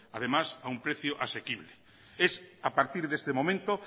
además a un precio asequible es a partir de este momento